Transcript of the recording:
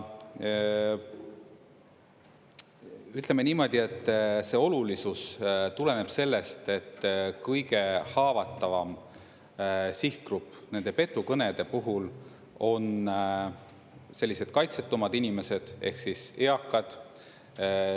Ütleme niimoodi, et see olulisus tuleneb sellest, et kõige haavatavam sihtgrupp nende petukõnede puhul on sellised kaitsetumad inimesed ehk siis eakad.